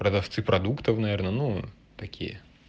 продавцы продуктов наверное ну такие